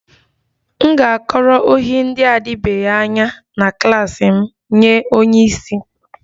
M ga-akọrọ ohi ndị na-adịbeghị anya na klas m nye onye isi